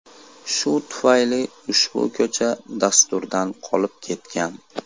Shu tufayli ushbu ko‘cha dasturdan qolib ketgan.